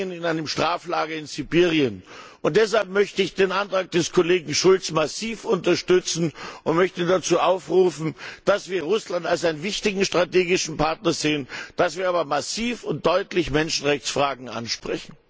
in einem Straflager in Sibirien verbringen. Deshalb möchte ich den Antrag des Kollegen Schulz massiv unterstützen und möchte dazu aufrufen, dass wir Russland als einen wichtigen strategischen Partner sehen, dass wir aber massiv und deutlich Menschenrechtsfragen ansprechen.